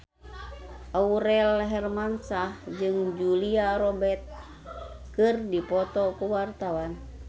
Aurel Hermansyah jeung Julia Robert keur dipoto ku wartawan